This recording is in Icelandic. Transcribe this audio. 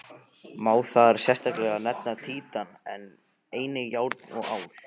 Má þar sérstaklega nefna títan, en einnig járn og ál.